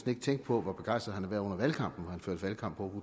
ikke tænke på hvor begejstret han har været under valgkampen hvor førte valgkamp på